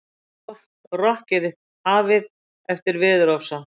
Rokkið hafið eftir veðurofsa